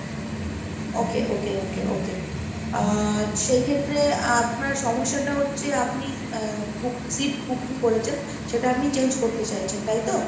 Okay, okay, okay, okay আহ সেই ক্ষেত্রে আপনার সমস্যাটা হচ্ছে আপনি আহ book seat booking করেছেন, সেটা আপনি change করতে চাইছেন তাই তো?